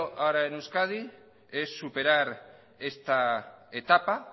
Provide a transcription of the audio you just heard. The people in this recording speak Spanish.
ahora en euskadi es superar esta etapa